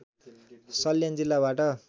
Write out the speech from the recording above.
सल्यान जिल्लाबाट